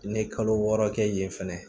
N'i ye kalo wɔɔrɔ kɛ yen fɛnɛ